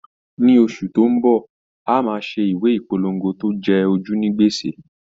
Ní oṣù tó ń bọ̀, a máa ṣe ìwé ìpolongo tó jẹ ojú ní gbèsè.